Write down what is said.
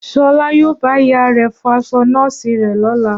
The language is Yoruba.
Ṣọlá yóò bá ìyá rẹ̀ fọ aṣọ nọ́ọ̀sì rẹ̀ lọ́la